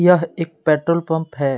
यह एक petrol pump है।